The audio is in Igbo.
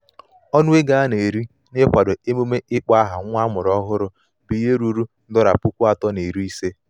ọnụ ego a na-eri n'ịkwado emume ịkpọ aha nwa amụrụ ọhụrụ bụ ihe ruru dolla puku atọ na narị ise.